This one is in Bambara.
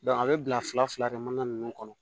a bɛ bila fila fila kɛ mana ninnu kɔnɔ